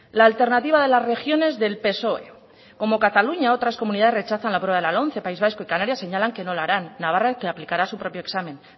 la alternativa de las regiones del psoe como cataluña otras comunidades rechazan la prueba de la lomce país vasco y canarias señala que no la harán navarra que aplicará su propio examen